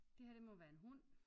Det her det må være en hund